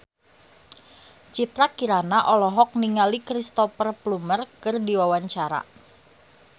Citra Kirana olohok ningali Cristhoper Plumer keur diwawancara